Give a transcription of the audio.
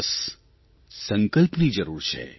બસ સંકલ્પની જરૂર છે